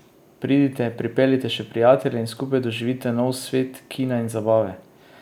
Pridite, pripeljite še prijatelje in skupaj doživite nov svet kina in zabave!